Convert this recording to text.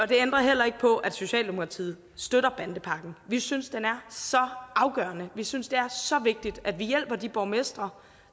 det ændrer heller ikke på at socialdemokratiet støtter bandepakken vi synes den er så afgørende vi synes det er så vigtigt at vi hjælper de borgmestre